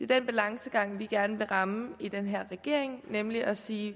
den balancegang vi gerne vil ramme i den her regering nemlig at sige